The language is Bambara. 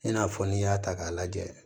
I n'a fɔ n'i y'a ta k'a lajɛ